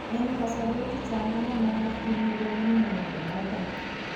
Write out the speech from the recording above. En kasarwek chechang ko manayat kiit negonu mnyondo noton